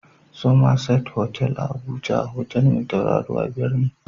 Summerset otal a Abuja, otal mai tauraruwa biyar ne